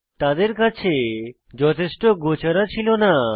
তাদের কাছে যথেষ্ট গোচারা ছিল না